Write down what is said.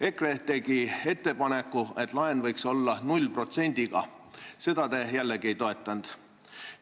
EKRE tegi ettepaneku, et laen võiks olla 0 protsendiga, seda te jällegi ei toetanud.